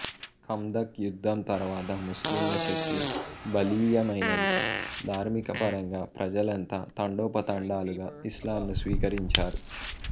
ఖందఖ్ యుధ్ధం తరువాత ముస్లింల శక్తి బలీయమైనది ధార్మికపరంగా ప్రజలంతా తండోపతండాలుగా ఇస్లాంను స్వీకరించారు